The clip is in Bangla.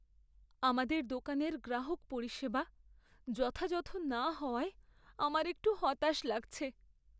আমাদের দোকানের গ্রাহক পরিষেবা যথাযথ না হওয়ায় আমার একটু হতাশ লাগছে।